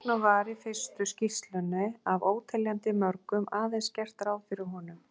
Þess vegna var í fyrstu skýrslunni af óteljandi mörgum aðeins gert ráð fyrir honum.